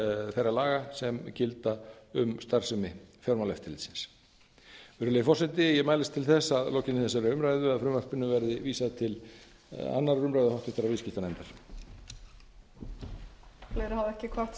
þeirra laga sem gilda um starfsemi fjármálaeftirlitsins virðulegi forseti ég mælist til þess að að lokinni þessari umræðu verði frumvarpinu vísað til annarrar umræðu og háttvirtur viðskiptanefndar